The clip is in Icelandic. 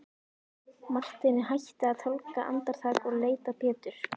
Marteinn hætti að tálga andartak og leit á Pétur.